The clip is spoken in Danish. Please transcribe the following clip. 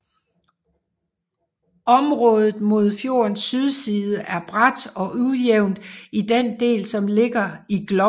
Området mod fjordens sydside er brat og ujævnt i den del som ligger i Gloppen